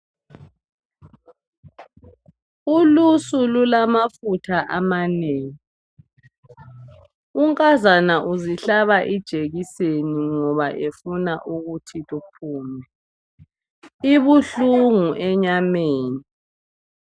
Ulusu lulamafutha amanengi .Unkazana uzihlaba ijekiseni ngoba efuna ukuthi luphume .Ibuhlungu enyameni .